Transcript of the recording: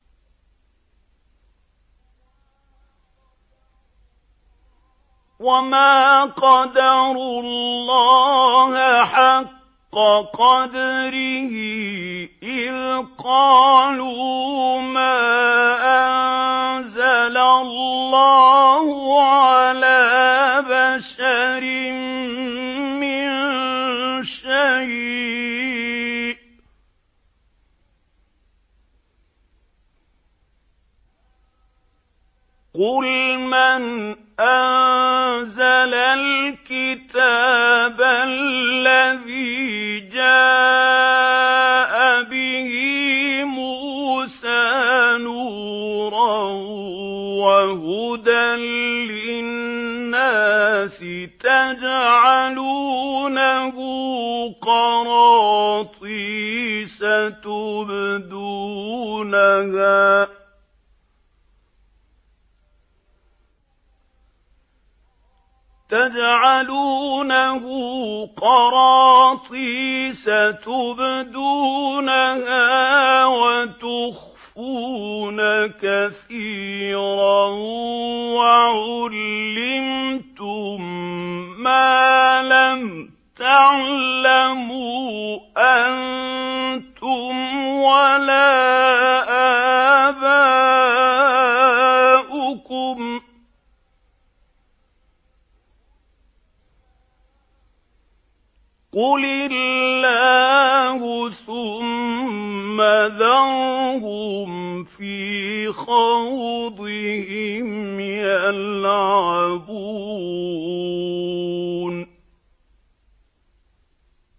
وَمَا قَدَرُوا اللَّهَ حَقَّ قَدْرِهِ إِذْ قَالُوا مَا أَنزَلَ اللَّهُ عَلَىٰ بَشَرٍ مِّن شَيْءٍ ۗ قُلْ مَنْ أَنزَلَ الْكِتَابَ الَّذِي جَاءَ بِهِ مُوسَىٰ نُورًا وَهُدًى لِّلنَّاسِ ۖ تَجْعَلُونَهُ قَرَاطِيسَ تُبْدُونَهَا وَتُخْفُونَ كَثِيرًا ۖ وَعُلِّمْتُم مَّا لَمْ تَعْلَمُوا أَنتُمْ وَلَا آبَاؤُكُمْ ۖ قُلِ اللَّهُ ۖ ثُمَّ ذَرْهُمْ فِي خَوْضِهِمْ يَلْعَبُونَ